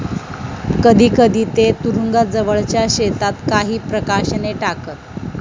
कधीकधी ते तुरुंगाजवळच्या शेतात काही प्रकाशने टाकत.